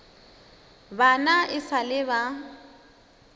bana e sa le ba